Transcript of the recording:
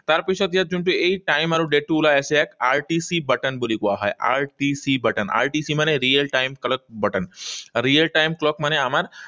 তাৰপাছত ইয়াত যোনটো এই time আৰু date টো ওলাই আছে, ইয়াত RTC button বুলি কোৱা হয়। RTC button RTC মানে real time clock button. Real time clock মানে আমাৰ